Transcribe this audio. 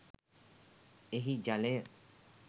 එහි ජලය